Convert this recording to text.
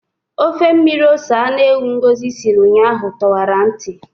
Ofe mmiri ose anụ ewu Ngosi siri ụnyaahụ tọwara ntị.